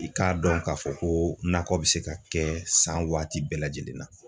I k'a dɔn k'a fɔ ko nakɔ be se ka kɛ san waati bɛɛ lajɛlen na